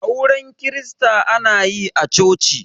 auren kirista ana yi a choci